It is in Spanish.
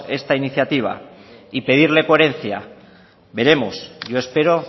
esa iniciativa y pedirle coherencia veremos yo espero